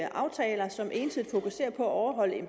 aftaler som ensidigt fokuserer på at overholde en